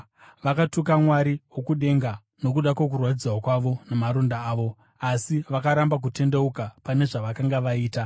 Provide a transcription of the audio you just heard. vakatuka Mwari wokudenga nokuda kwokurwadziwa kwavo namaronda avo, asi vakaramba kutendeuka pane zvavakanga vaita.